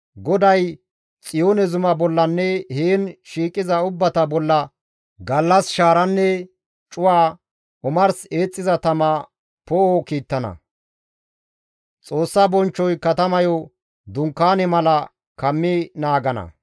GODAY Xiyoone zuma bollanne heen shiiqiza ubbata bolla gallas shaaranne cuwa, omars eexxiza tama poo7o kiittana; Xoossa bonchchoy katamayo dunkaane mala kammi naagana.